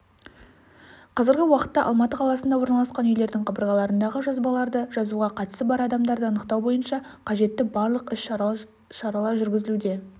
қазіргі уақытта алматы қаласында орналасқан үйлердің қабырғаларындағы жазбаларды жазуға қатысы бар адамдарды анықтау бойынша қажетті барлық іс-шаралар жүргізілуде көрсетілген интернет-ресурсқа